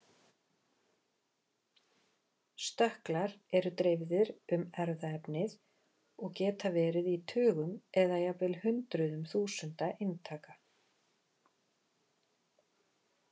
Stökklar eru dreifðir um erfðaefnið og geta verið í tugum eða jafnvel hundruðum þúsunda eintaka.